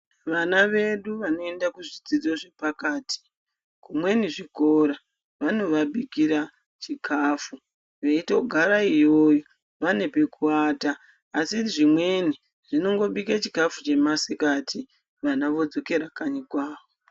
Vana wedu wanoenda kuzvidzidzo zvepakati zvimweni zvikora vanowabikira chikafu weitogara iyoyo, wane pekuvata asi zvimweni wanongobika chikafu chemasikati vana wodzokera kanyi kwavo.